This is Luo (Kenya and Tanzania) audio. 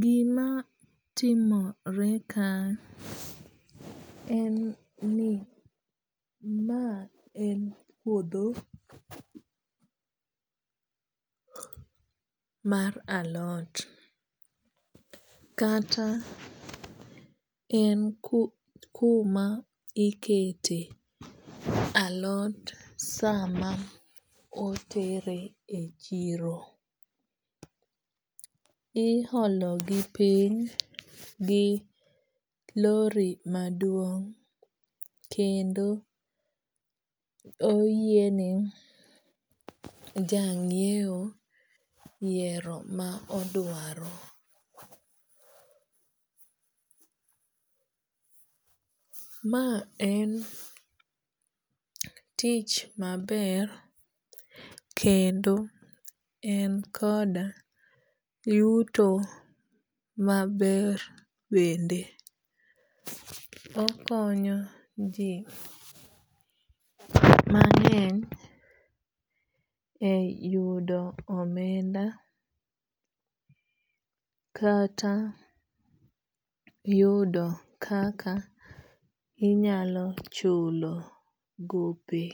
Gima timore ka en ni ma en puodho mar alot. Kata en kuma ikete alot sama otere e chiro. Iholo gi piny gi lori maduong' kendo oyiene ja ng'iew yiero ma odwaro. Ma en tich maber kendo en koda yuto maber bende. Okonyo ji mang'eny e yudo omenda kata yudo kaka inyalo chulo gope